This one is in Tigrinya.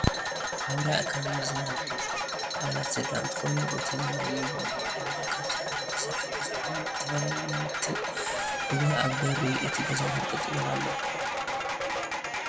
ኣብ ራያ ኣከባቢ ዝነብራ ኣባላት ስድራ እንትከኑ እቲ ዝነብሩ ድማ ካብ ሳዕሪ ዝተሰረሐ ገዛ ኮይኑ ዝተፈላለዩ ናውቲታት እውን ኣብ ቢሪ እቲ ገዛ ተንጠልጢሎም ኣለው።